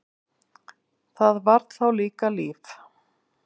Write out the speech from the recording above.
Það var þá líka líf!